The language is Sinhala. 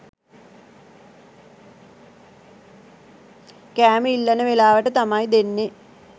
කෑම ඉල්ලන වෙලාවට තමයි දෙන්නේ.